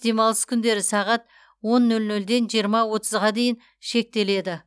демалыс күндері сағат он нөл нөлден жиырма отызға дейін шектеледі